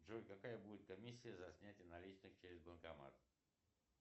джой какая будет комиссия за снятие наличных через банкомат